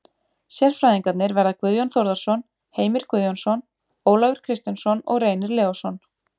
Sérfræðingarnir verða Guðjón Þórðarson, Heimir Guðjónsson, Ólafur Kristjánsson og Reynir Leósson.